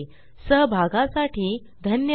सहभागासाठी धन्यवाद